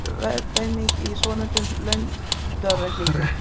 Hundrað er verðeining í svonefndum landaurareikningi.